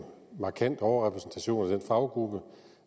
markant overrepræsentation af den faggruppe